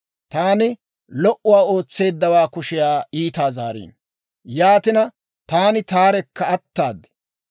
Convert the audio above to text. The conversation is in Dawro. Taani lo"uwaa ootseeddawaa kushiyaa iitaa zaariino; yaatina, taani taarekka ataad.